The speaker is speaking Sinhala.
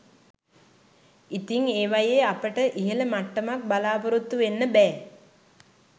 ඉතිං ඒවයේ අපට ඉහළ මට්ටමක් බලාපොරොත්තු වෙන්න බෑ